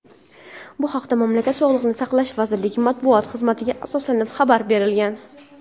Bu haqda mamlakat Sog‘liqni saqlash vazirligi matbuot xizmatiga asoslanib xabar berilgan.